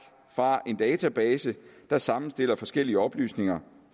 fra en database der sammenstiller forskellige oplysninger